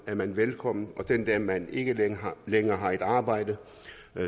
er man velkommen og den dag man ikke længere har et arbejde